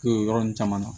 O yɔrɔ nun caman na